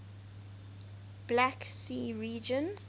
black sea region